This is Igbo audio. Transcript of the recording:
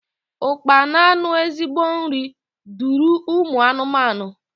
Ụkpana nu ezigbo nri duru ụmụ anụmanụ.